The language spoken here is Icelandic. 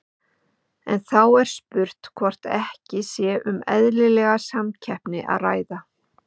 En þá er spurt hvort ekki sé um eðlilega samkeppni að ræða?